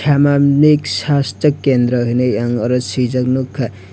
samajik sasto kendra hinui ang oro suijak nukha.